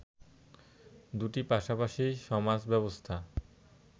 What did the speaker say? দুটি পাশাপাশি সমাজব্যবস্থা